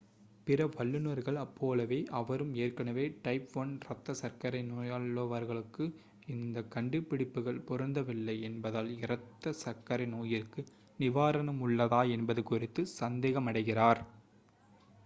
பிற வல்லுனர்கள் போலவே அவரும் ஏற்கனவே டைப் 1 இரத்த சர்க்கரை நோயுள்ளவர்களுக்கு இந்த கண்டுபிடிப்புகள் பொருந்தவில்லை என்பதால் இரத்த சர்க்கரை நோயிற்கு நிவாரணம் உள்ளதா என்பது குறித்து சந்தேகமடைகிறார்